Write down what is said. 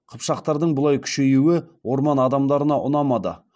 қыпшақтардың бұлай күшеюі орман адамдарына ұнамады